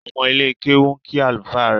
Omo ile kewu nki alufa rẹ.